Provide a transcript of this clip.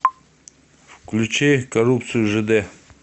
включи коррупцию жд